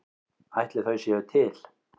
Ætli þau séu til?